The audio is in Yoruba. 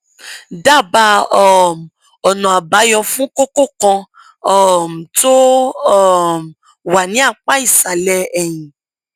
dábàá um ọnààbáyọ fún kókó kan um tó um wà ní apá ìsàlẹ ẹyìn